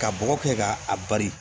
Ka bɔgɔ kɛ ka a bari